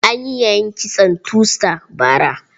An yi yayin kitson two star bara.